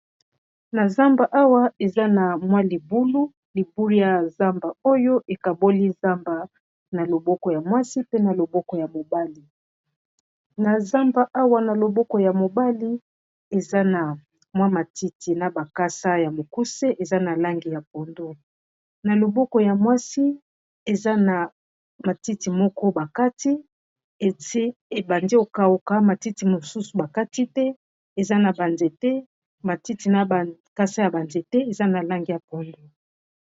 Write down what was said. Na zamba awa eza na mwa libulu libulu ya zamba oyo ekaboli zamaa mwaoyabioko ya molieawksyaouseanyana loboko ya mwasi eza na matiti moko bakati et ebandi okauka matiti mosusu bakati te eza naaetematiakasa ya banzete eza na langi ya pondo.